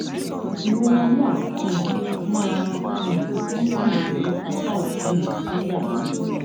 ìrora náà um máa um ń tàn dé apá òtún mi nígbà míì